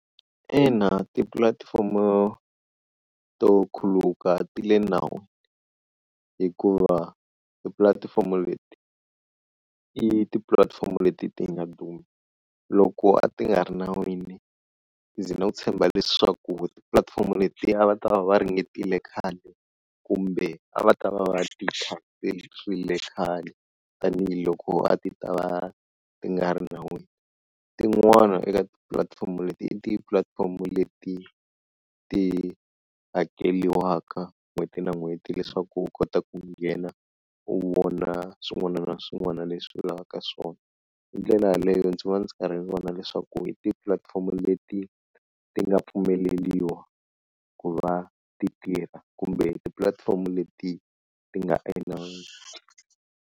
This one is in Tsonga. Ina tipulatifomo to khuluka ti le nawini hikuva tipulatifomo leti i tipulatifomo leti ti nga duma loko a ti nga ri nawini ndzi lo tshemba leswaku tipulatifomo leti a va ta va va ringetile khale kumbe a va ta va va ti khale tanihiloko a ti ta va ti nga ri nawini, tin'wana eka tipulatifomo leti i ti-platform leti ti hakeliwaka n'hweti na n'hweti leswaku u kota ku nghena u vona swin'wana na swin'wana leswi u lavaka swona, hi ndlela yaleyo ndzi va ndzi karhi ni vona leswaku hi tihi tipulatifomo leti ti nga pfumeleliwa ku va ti tirha kumbe tipulatifomo leti ti nga enawini.